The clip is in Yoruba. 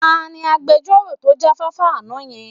Ta ni agbejọ́rò tó jáfáfá àná yẹn?